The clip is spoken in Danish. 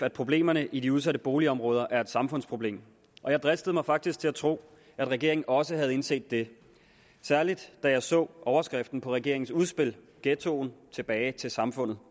at problemerne i de udsatte boligområder er samfundsproblemer og jeg dristede mig faktisk til at tro at regeringen også havde indset det særlig da jeg så overskriften på regeringens udspil ghettoen tilbage til samfundet